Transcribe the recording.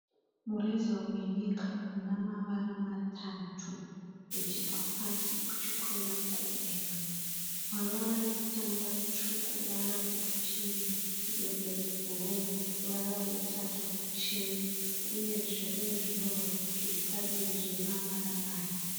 Mureza wenyika una mavara matatu uchibva pasi uchikwira kudenga. Ruvara rekutanga rutsvuku. Ruvara rwechipiri nderwe bhuruu. Ruvara rwetatu ruchena uyezve rune zvinyorwa zviri padivi zvine mavara aya.